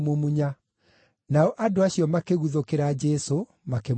Nao andũ acio makĩguthũkĩra Jesũ makĩmũnyiita.